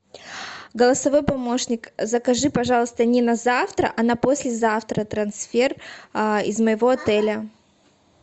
голосовой помощник закажи пожалуйста не на завтра а на послезавтра трансфер из моего отеля